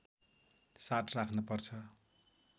साथ राख्न पर्छ